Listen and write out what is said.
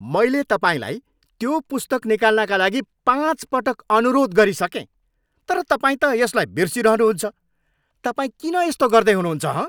मैले तपाईँलाई त्यो पुस्तक निकाल्नका लागि पाँच पटक अनुरोध गरिसकेँ तर तपाईँ त यसलाई बिर्सिरहनु हुन्छ, तपाईँ किन यस्तो गर्दै हुनुहुन्छ हँ?